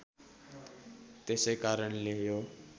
त्यसै कारणले यो